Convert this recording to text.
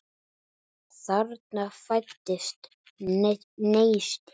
Þarna fæddist neisti.